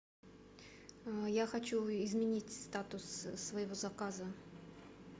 я хочу изменить статус своего заказа